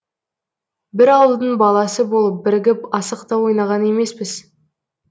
бір ауылдың баласы болып бірігіп асық та ойнаған емеспіз